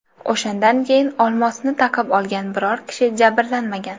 O‘shandan keyin olmosni taqib olgan biror kishi jabrlanmagan.